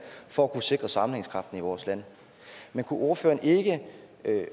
for at kunne sikre sammenhængskraften i vores land men kunne ordføreren ikke